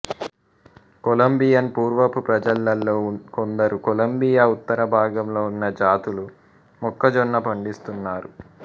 Colombian పూర్వపు ప్రజలలో కొందరు కొలంబియా ఉత్తర భాగంలో ఉన్న జాతులు మొక్కజొన్న పండిస్తున్నారు